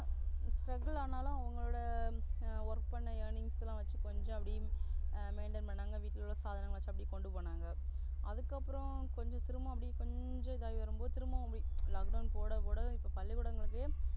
Struggle அனாலும் அவங்களோட Work பண்ண Earnings லாம் வச்சி கொஞ்ச அப்டி Maintain pannanga வீட்ல உள்ள Father வச்சு அப்டி கொண்டுபோனாங்க. அதுக்கு அப்புறம் கொஞ்ச திரும்பவு அப்டி கொஞ்ச இதுவாகி வரும்போது திரும்பவே அப்டி Lockdown போட போட இப்போ பள்ளிக்கூடங்களுக்கே,